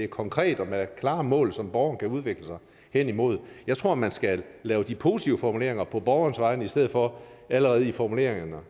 konkret og med klare mål som borgeren kan udvikle sig hen imod jeg tror man skal lave de positive formuleringer på borgernes vegne i stedet for og allerede i formuleringerne